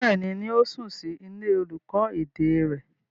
Bẹ́ẹ̀ni, yóò sùn sí ilé olùkọ́ èdè rẹ̀.